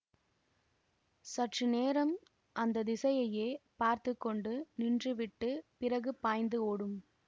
சற்று நேரம் அந்த திசையையே பார்த்து கொண்டு நின்றுவிட்டுப் பிறகு பாய்ந்து ஓடும்